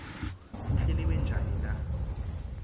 kuhleliwe njani na